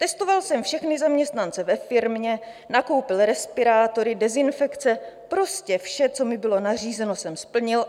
Testoval jsem všechny zaměstnance ve firmě, nakoupil respirátory, dezinfekce, prostě vše, co mi bylo nařízeno, jsem splnil.